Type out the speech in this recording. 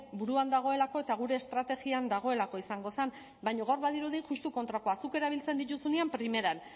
buruan dagoelako eta gure estrategian dagoelako izango zen baina gaur badirudi justu kontrakoa zuk erabiltzen dituzunean primeran